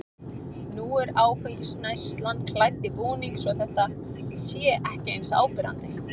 Nú er áfengisneyslan klædd í búning svo að þetta sé ekki eins áberandi.